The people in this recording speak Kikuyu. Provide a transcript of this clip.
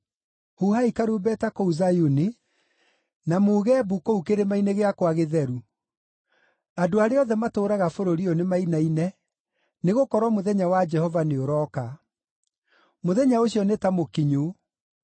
Huhai karumbeta kũu Zayuni, na muuge mbu kũu kĩrĩma-inĩ gĩakwa gĩtheru! Andũ arĩa othe matũũraga bũrũri ũyũ nĩmainaine, nĩgũkorwo mũthenya wa Jehova nĩũrooka. Mũthenya ũcio nĩ ta mũkinyu: